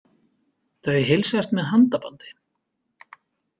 Þau heilsast með handabandi.